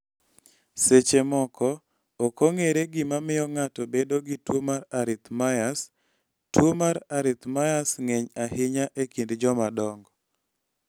Seche moko ok ong�ere gima miyo ng�ato bedo gi tuo mar arrhythmias." "tuo mar Arrhythmias ng�eny ahinya e kind jomadongo.